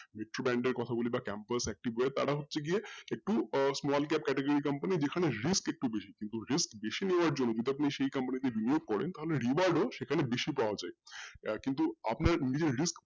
কথা বলি বা campus তারা হচ্ছে গিয়ে আহ একটু small medium category company কিন্তু যেখানে risk একটু বেশি যদি risk বেশি হওয়ার কারনেও আপনি সেই company তে করেন তাহলে reward ও সেখানে বেশি পাওয়া যায় আহ কিন্তু আপনার নিজের risk